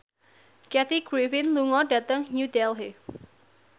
Kathy Griffin lunga dhateng New Delhi